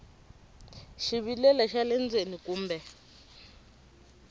xivilelo xa le ndzeni kumbe